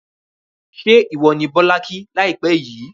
ṣé ìwọ ni Bọ́lá kí láìpẹ́ yìí?